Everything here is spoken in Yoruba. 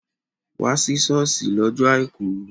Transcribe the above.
Wá sí ṣọ́ọ̀ṣì lọ́jọ́ àìkú!